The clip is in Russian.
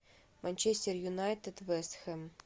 манчестер юнайтед вест хэм